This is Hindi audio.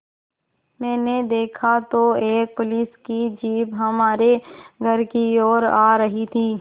मैंने देखा तो एक पुलिस की जीप हमारे घर की ओर आ रही थी